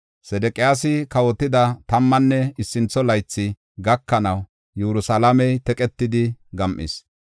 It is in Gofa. Sedeqiyaasi kawotida tammanne issintho laythi gakanaw, Yerusalaamey teqetidi gam7is.